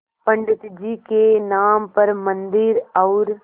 पंडित जी के नाम पर मन्दिर और